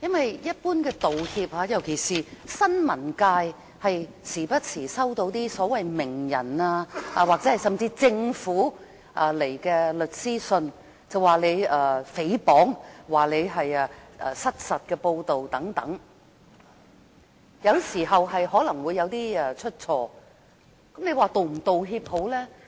就一般的道歉，尤其是新聞界經常都會收到所謂名人或政府發出的律師信，控告你誹謗或失實報道等，有時可能會出錯，那這時你應否道歉呢？